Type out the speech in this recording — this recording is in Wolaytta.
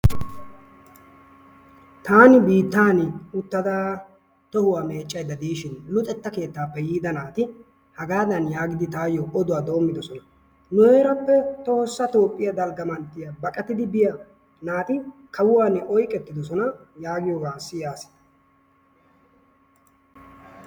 Taanni biittani utada tohuwa meecayda diishin luxetta kettaappe yiida naati hagaadan giidi tayoo oduwa doomidosona; nu heerappe tohosa toophiya dalga mantiya baqattidi biya naati kawuwani oyqqettidosona yaaiyoga siyaas.